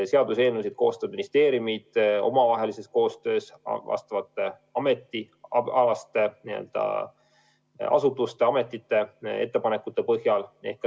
Seaduseelnõusid koostavad ministeeriumid koostöös asjaomaste ametite ja muude asutuste ettepanekute põhjal.